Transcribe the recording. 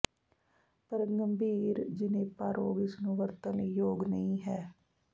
ਪਰ ਗੰਭੀਰ ਿਣੇਪਾ ਰੋਗ ਇਸ ਨੂੰ ਵਰਤਣ ਲਈ ਯੋਗ ਨਹੀ ਹੈ